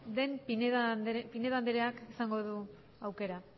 den pinedo andreak izango du aukera